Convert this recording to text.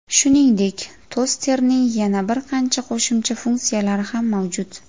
Shuningdek, tosterning yana bir qancha qo‘shimcha funksiyalari ham mavjud.